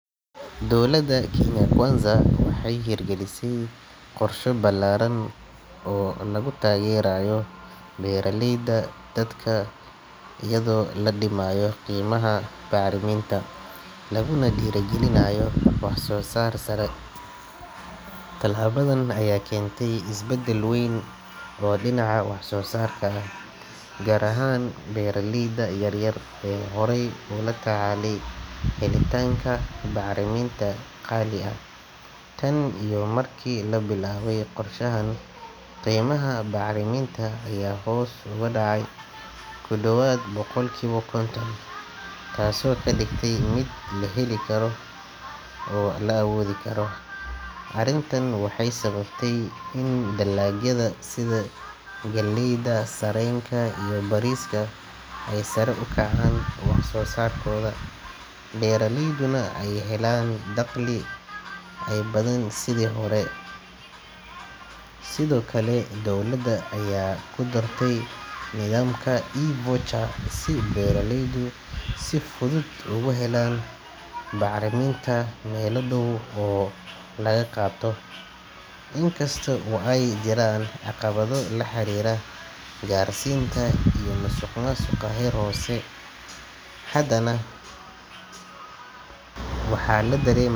Dowladda Kenya Kwanza waxay hirgalisay qorshe ballaaran oo lagu taageerayo beeraleyda dalka iyadoo la dhimayo qiimaha bacriminta laguna dhiirrigelinayo wax-soo-saar sare. Tallaabadan ayaa keentay isbedel weyn oo dhinaca wax-soo-saarka ah, gaar ahaan beeraleyda yaryar ee horey ula tacaalayay helitaanka bacriminta qaali ah. Tan iyo markii la bilaabay qorshahan, qiimaha bacriminta ayaa hoos uga dhacay ku dhowaad boqolkiiba konton, taasoo ka dhigtay mid la heli karo oo la awoodi karo. Arrintan waxay sababtay in dalagyada sida galleyda, sarreenka iyo bariiska ay sare u kacaan wax-soo-saarkooda, beeraleyduna ay helaan dakhli ka badan sidii hore. Sidoo kale, dowladda ayaa ku dartay nidaamka e-voucher si beeraleydu si fudud uga helaan bacriminta meelo dhow oo laga qaato. Inkasta oo ay jiraan caqabado la xiriira gaarsiinta iyo musuqmaasuqa heer hoose, haddana waxaa la dareema.